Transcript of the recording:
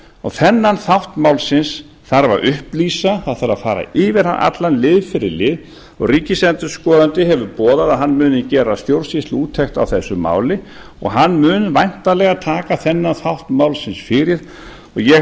og þennan þátt málsins þarf að upplýsa það þarf að fara yfir hann allan lið fyrir lið og ríkisendurskoðandi hefur boðað að hann muni gera stjórnsýsluúttekt á þessu máli og hann mun væntanlega taka þennan þátt málsins fyrir og ég